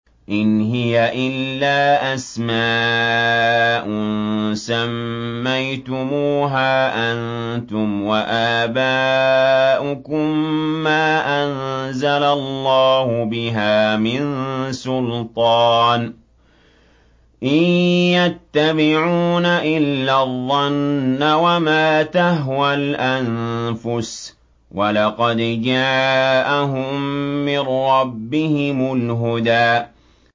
إِنْ هِيَ إِلَّا أَسْمَاءٌ سَمَّيْتُمُوهَا أَنتُمْ وَآبَاؤُكُم مَّا أَنزَلَ اللَّهُ بِهَا مِن سُلْطَانٍ ۚ إِن يَتَّبِعُونَ إِلَّا الظَّنَّ وَمَا تَهْوَى الْأَنفُسُ ۖ وَلَقَدْ جَاءَهُم مِّن رَّبِّهِمُ الْهُدَىٰ